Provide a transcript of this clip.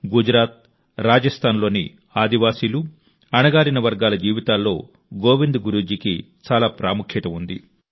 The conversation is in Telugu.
గుజరాత్ రాజస్థాన్లోని ఆదివాసీలు అణగారిన వర్గాల జీవితాల్లో గోవింద్ గురు జీకి చాలా ప్రత్యేక ప్రాముఖ్యత ఉంది